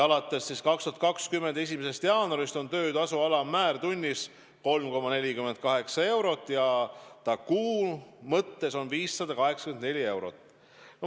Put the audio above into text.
Alates 2020. aasta 1. jaanuarist on töötasu alammäär tunnis 3,48 eurot ja ühes kuus 584 eurot.